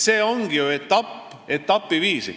See toimub ju etapiviisi.